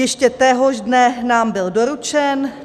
Ještě téhož dne nám byl doručen.